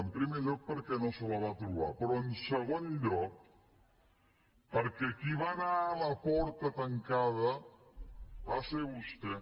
en primer lloc perquè no se la va trobar però en segon lloc perquè qui va anar a la porta tancada va ser vostè